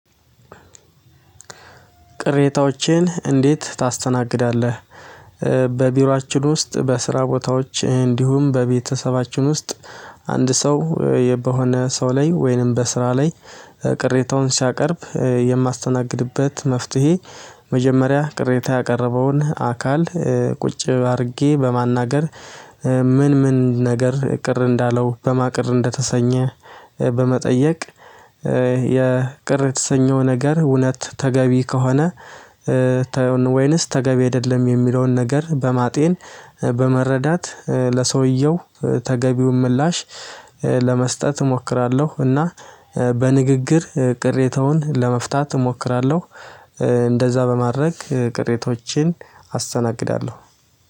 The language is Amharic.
ቅሬታዎችን እንዴት ታስተናግዳለህ? በቢሯችን ውስጥ በስራ ቦታዎች እንዲሁም በቤተሰባችን ውስጥ አንድ ሰው በሆነ ሰው ላይ ወይንም በስራ ላይ ቅሬታውን ሲያቀርብ የማስተናግድበት መፍትሄ። መጀመሪያ ቅሬታ ያቀረበውን አካል ቁጭ አድርጌ በማናገር። ምን ምን ነገር ቅር እንዳለው በማን ቅር እንደተሰኘ። በመጠየቅ የቅር የተሰኘው ነገር እውነት ተገቢ ከሆነ። ወይንስ ተገቢ አይደለም የሚለውን ነገር በማጤን በመረዳት ለሰውየው ተገቢውን ምላሽ ለመስጠት እሞክራለሁ። እና በንግግር ቅሬታውን ለመፍታት እሞክራለሁ። እንደዛ በማድረግ ቅሬታዎችን አስተናግዳለሁ።